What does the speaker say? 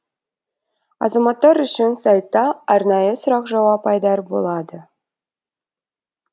азаматтар үшін сайтта арнайы сұрақ жауап айдары болады